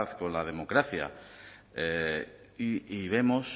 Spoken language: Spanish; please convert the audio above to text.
con la democracia y vemos